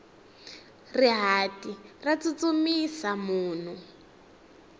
rihati ra tsutsumisa munhu